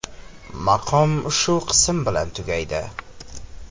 Maqom shu qism bilan tugaydi.